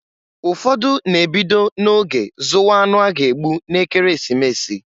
Ụfọdụ na-ebido na-oge zụwa anụ a ga-egbu n'Ekeresimesi.